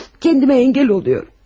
Özümü saxlaya bilirəm.